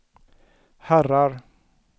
herrar